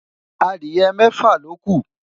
Adiye mẹfa loku